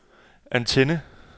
antenne